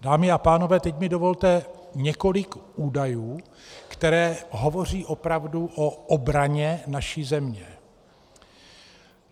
Dámy a pánové, teď mi dovolte několik údajů, které hovoří opravdu o obraně naší země.